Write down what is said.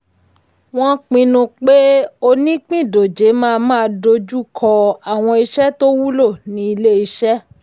wọ́n pinnu pé onípìndòjé máa máa dojú kọ́ àwọn iṣẹ́ tó wúlò nínú ilé-iṣẹ́.